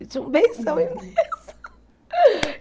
Ele tinha um benção imenso.